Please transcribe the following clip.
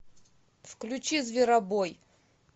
включи зверобой